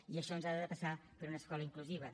i això ens ha de passar per una escola inclusiva